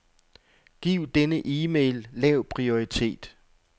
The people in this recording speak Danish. Giv denne e-mail lav prioritet.